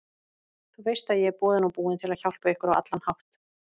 Þú veist ég er boðinn og búinn til að hjálpa ykkur á allan hátt.